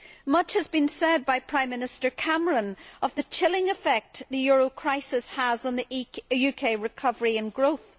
Much has been said by Prime Minister Cameron about the chilling effect the euro crisis is having on UK recovery and growth.